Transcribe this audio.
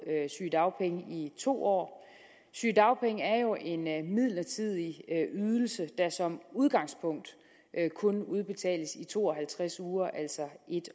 sygedagpenge i to år sygedagpenge er jo en midlertidig ydelse der som udgangspunkt kun udbetales i to og halvtreds uger altså en